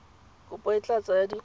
kopo e tla tsaya dikgwedi